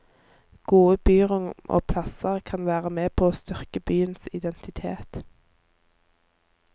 Gode byrom og plasser kan være med på styrke byens identitet.